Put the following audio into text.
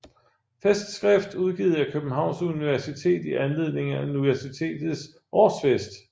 Festskrift udgivet af Københavns Universitet i anledning af Universitetets årsfest